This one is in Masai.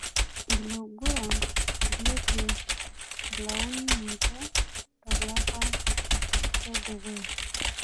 Iloguran ipiel olauni ninje tolapa ledukuya